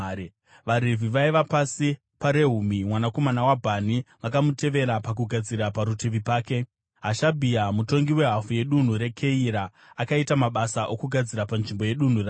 VaRevhi vaiva pasi paRehumi mwanakomana waBhani vakamutevera pakugadzira. Parutivi pake, Hashabhia, mutongi wehafu yedunhu reKeira, akaita mabasa okugadzira panzvimbo yedunhu rake.